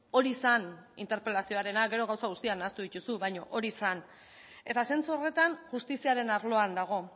hori zen interpelazioarena gero gauza guztiak nahastu dituzu baina hori zen eta zentzu horretan justiziaren arloan dago